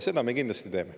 Seda me kindlasti teeme.